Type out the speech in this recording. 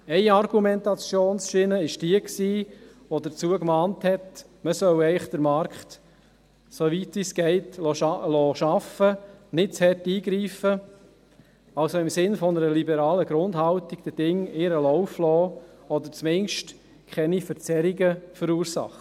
Eine Argumentationsschiene war jene, welche dazu mahnte, man solle den Markt eigentlich, soweit es geht, arbeiten lassen und nicht zu stark eingreifen, also im Sinne einer liberalen Grundhaltung den Dingen ihren Lauf lassen oder zumindest keine Verzerrungen verursachen.